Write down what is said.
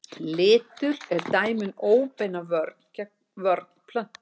Litur er dæmi um óbeina vörn plöntu.